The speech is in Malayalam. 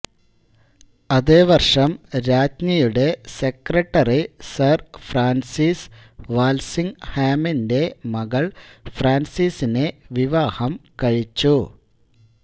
അതേ വർഷം രാജ്ഞിയുടെ സെക്രട്ടറി സർ ഫ്രാൻസിസ് വാൽസിങ്ങ് ഹാമിന്റെ മകൾ ഫ്രാൻസിസിനെ വിവാഹം കഴിച്ചു